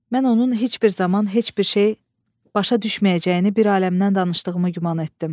Mən onun heç bir zaman heç bir şey başa düşməyəcəyini bir aləmdən danışdığımı güman etdim.